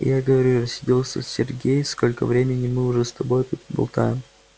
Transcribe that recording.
я и говорю рассердился сергей сколько времени мы уже с тобой тут болтаем